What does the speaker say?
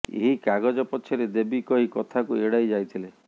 ଏହି କାଗଜ ପଛରେ ଦେବି କହି କଥାକୁ ଏଡାଇ ଯାଇଥିଲେ